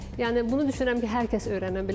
Yəni bunu düşünürəm ki, hər kəs öyrənə bilər.